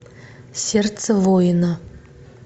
сердце воина